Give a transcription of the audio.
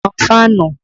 Tan fáànù!